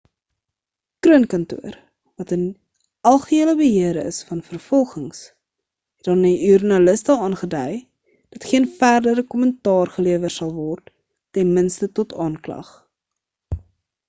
kroon kantoor wat in algehele beheer is van vervolgings het aan joernaliste aangedui dat geen verdere kommentaar gelewer sal word ten minste tot aanklag